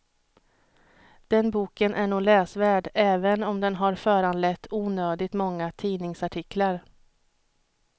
Den boken är nog läsvärd även om den har föranlett onödigt många tidningsartiklar.